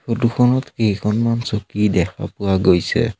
Photo খনত কেইখনমান চকী দেখা পোৱা গৈছে।